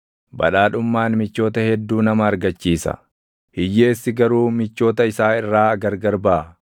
Badhaadhummaan michoota hedduu nama argachiisa; hiyyeessi garuu michoota isaa irraa gargar baʼa.